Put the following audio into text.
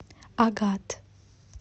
агат